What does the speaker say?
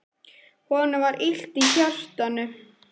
Honum var illt í hjartanu.